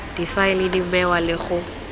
difaele di bewa le go